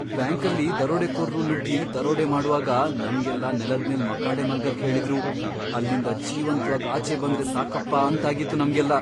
ಬ್ಯಾಂಕಲ್ಲಿ ದರೋಡೆಕೋರ್ರು ನುಗ್ಗಿ ದರೋಡೆ ಮಾಡ್ವಾಗ ನಮ್ಗೆಲ್ಲ ನೆಲದ್ಮೇಲ್ ಮಕಾಡೆ ಮಲ್ಗಕ್ ಹೇಳಿದ್ರು, ಅಲ್ಲಿಂದ ಜೀವಂತ್ವಾಗ್ ಆಚೆ ಬಂದ್ರೆ ಸಾಕಪ್ಪ ಅಂತಾಗಿತ್ತು ನಮ್ಗೆಲ್ಲ.